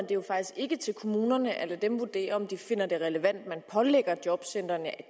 jo faktisk ikke til kommunerne at lade dem vurdere om de finder det relevant man pålægger jobcentrene at